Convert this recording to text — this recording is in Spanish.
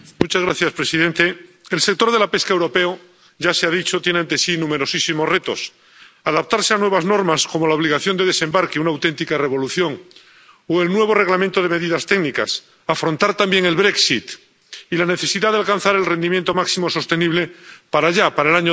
Señor presidente, el sector de la pesca europeo —ya se ha dicho— tiene ante sí numerosísimos retos adaptarse a nuevas normas como la obligación de desembarque —una auténtica revolución— o el nuevo Reglamento de medidas técnicas afrontar también el y la necesidad de alcanzar el rendimiento máximo sostenible para ya, para el año